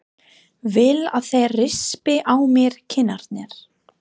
Vil að þeir rispi á mér kinnarnar.